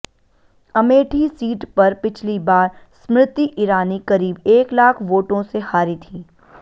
Amethi seat पर पिछली बार स्मृति ईरानी करीब एक लाख वोटों से हारी थीं